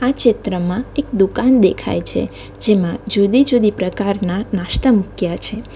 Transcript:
આ ચિત્રમાં એક દુકાન દેખાય છે જેમાં જુદી જુદી પ્રકારના નાસ્તા મૂક્યા છે.